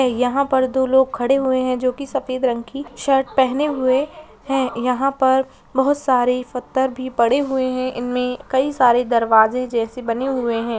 यहाँ पर दो लोग खड़े हुए हैं जो की सफेद रंग की शर्ट पहने हुए हैं। यहाँ पर बहुत सारे पत्थर भी पड़े हुए हैं। इनमें कई सारे दरवाजे जैसे बने हुए हैं।